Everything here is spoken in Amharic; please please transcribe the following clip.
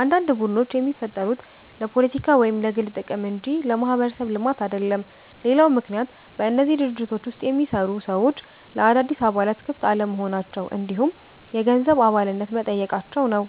አንዳንድ ቡድኖች የሚፈጠሩት ለፖለቲካ ወይም ለግል ጥቅም እንጂ ለማህበረሰብ ልማት አይደለም። ሌላው ምክንያት በእነዚህ ድርጅቶች ውስጥ የሚሰሩ ሰዎች ለአዳዲስ አባላት ክፍት አለመሆናቸው እንዲሁም የገንዘብ አባልነት መጠየቃቸው ነው።